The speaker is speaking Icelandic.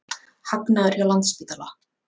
Hagnaður hjá Landspítala